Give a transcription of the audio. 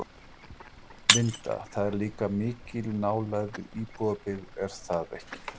Linda: Það er líka mikil nálægð við íbúabyggð er það ekki?